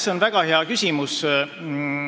See on väga hea küsimus.